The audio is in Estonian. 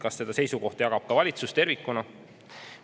Kas seda seisukohta jagab ka valitsus tervikuna?